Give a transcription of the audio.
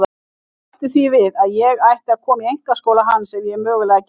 Bætti því við að ég ætti að koma í einkaskóla hans ef ég mögulega gæti.